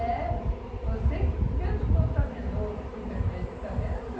É. Você que menos contaminou o remédio, está vendo?